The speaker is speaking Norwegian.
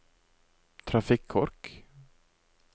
trafikkork